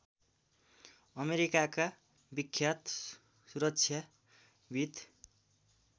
अमेरिकाका विख्यात सुरक्षाविद्